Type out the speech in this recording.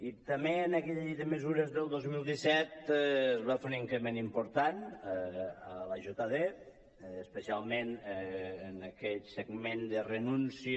i també en aquella llei de mesures del dos mil disset es va fer un increment important a l’iajd especialment en aquell segment de renúncia